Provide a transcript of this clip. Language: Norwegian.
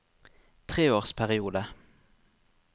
treårsperiode